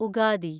Ugadi